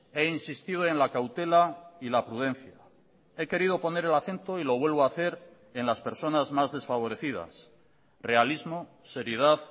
he insistido en la cautela y la prudencia he querido poner el acento y lo vuelvo a hacer en las personas más desfavorecidas realismo seriedad